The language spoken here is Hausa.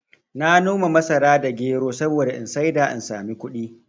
Na noma masara da gero saboda in saida in sami kuɗi